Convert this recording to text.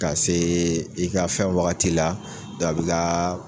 Ka see i ka fɛn wagati la dɔn a bi gaa